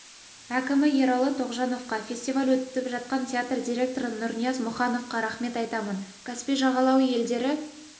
әкімі ералы тоғжановқа фестиваль өтіп жатқан театр директоры нұрнияз мұхановқа рахмет айтамын каспий жағалауы елдері